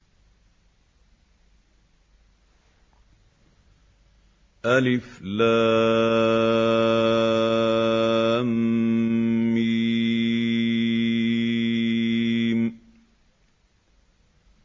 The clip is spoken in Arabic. الم